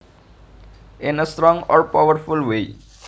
In a strong or powerful way